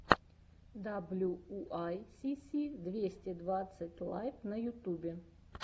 даблюуайсиси двести двадцать лайв на ютубе